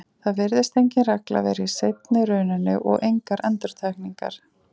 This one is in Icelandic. Það virðist engin regla vera í seinni rununni og engar endurtekningar.